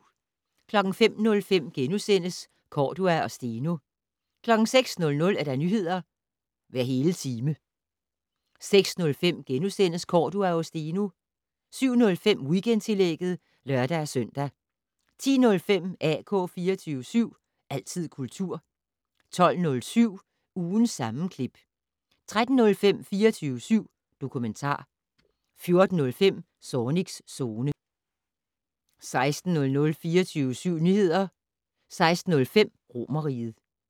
05:05: Cordua og Steno * 06:00: Nyheder hver hele time 06:05: Cordua og Steno * 07:05: Weekendtillægget (lør-søn) 10:05: AK 24syv. Altid kultur 12:07: Ugens sammenklip 13:05: 24syv dokumentar 14:05: Zornigs Zone 16:00: 24syv Nyheder 16:05: Romerriget